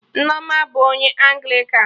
Nneoma bụ onye Anglịkan